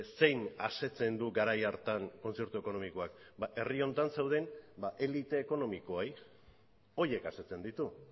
zein asetzen du garai hartan kontzertu ekonomikoak ba herri honetan zeuden elite ekonomikoei horiek asetzen ditu